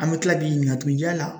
An bɛ tila k'i ɲininka tugun yala?